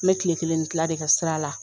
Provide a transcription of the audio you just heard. N bɛ tile kelen ni tila de kɛ sira la